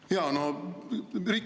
Jaa!